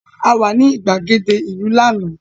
A wà ní ìgbàgede ìlú lánàá